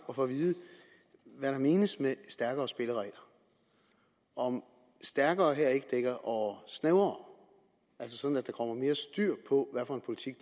at få at vide hvad der menes med stærkere spilleregler om stærkere her ikke dækker over snævrere altså sådan at der kommer mere styr på hvad for en politik